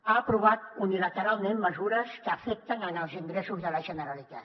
ha aprovat unilateralment mesures que afecten els ingressos de la generalitat